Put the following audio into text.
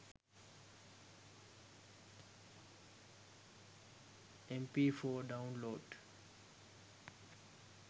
mp4 download